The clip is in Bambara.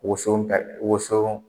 Woson woson